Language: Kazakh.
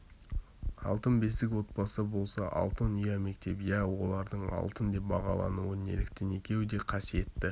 алтын бесік отбасы болса алтын ұя мектеп иә олардың алтын деп бағалануы неліктен екеуі де қасиетті